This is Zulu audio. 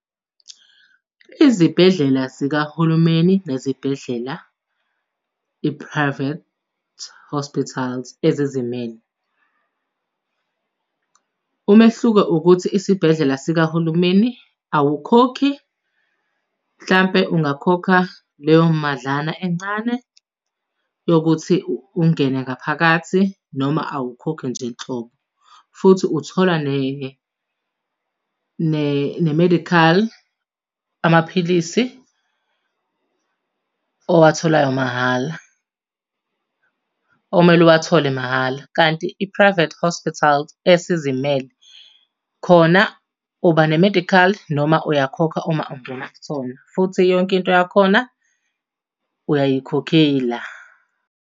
Izibhedlela zikahulumeni nezibhedlela i-private hospitals ezizimele. Umehluko ukuthi isibhedlela sikahulumeni awukhokhi, mhlampe ungakhokha leyo madlana encane yokuthi ungene ngaphakathi noma awukhokhi nje nhlobo. Futhi uthola ne-medical amaphilisi owatholayo mahhala, okumele uwathole mahhala. Kanti i-private Hospitals, esizimele, khona uba ne-medical noma uyakhokha uma ungena kusona. Futhi yonke into yakhona uyayikhokhela.